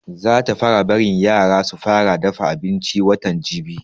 Za ta fara barin yaran su fara dafa abinci watan jibi